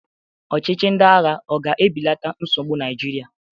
Ọchịchị ndị agha ọ ga-ebelata nsogbu Naịjirịa?